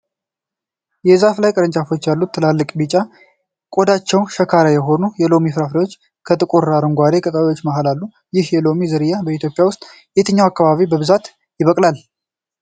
የዛፉ ላይ ቅርንጫፎች ላይ ትላልቅ፣ ቢጫ፣ ቆዳቸው ሸካራ የሆኑ የሎሚ ፍሬዎች ከጥቁር አረንጓዴ ቅጠሎች መሃል አሉ። ይህ የሎሚ ዝርያ በኢትዮጵያ ውስጥ የትኞቹ አካባቢዎች በብዛት ይበቅላል?